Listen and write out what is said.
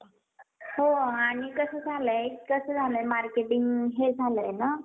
बळकट करणे गरजेचे आहे. असेही यात नमूद आहे. यासाठी सरकारी व खाजगी शाळांच्या मूल्यांकनावर भर देण्यात आला आहे. PM Shri योजनेत